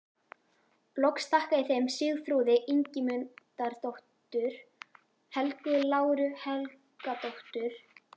Loks þakka ég þeim Sigþrúði Ingimundardóttur, Helgu Láru Helgadóttur